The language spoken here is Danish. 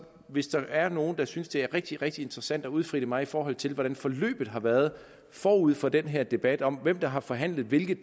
hvis der er nogen der synes det er rigtig rigtig interessant at udfritte mig i forhold til hvordan forløbet har været forud for den her debat om hvem der har forhandlet hvilke